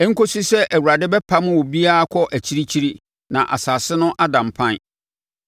ɛnkɔsi sɛ, Awurade bɛpamo obiara akɔ akyirikyiri na asase no ada mpan.